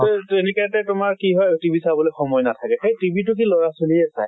সেই তেনেকাতে তোমাৰ কি হয় TV চাবলে সময় নাথাকে। সেই TV টো লʼৰা ছোৱালীয়ে চায়।